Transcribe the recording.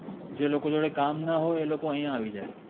જે લોકો જોદે કામ ના હોએ એ અહિઆ આઇ જાએ